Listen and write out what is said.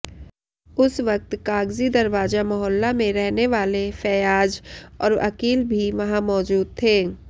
उस वक्त कागजी दरवाजा मोहल्ला में रहनेवाले फैयाज और अकील भी वहां मौजूद थे